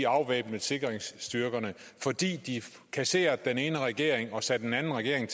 afvæbnede sikringsstyrkerne fordi vi kasserede den ene regering og satte en anden regering